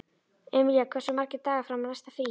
Emilía, hversu margir dagar fram að næsta fríi?